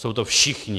Jsou to všichni.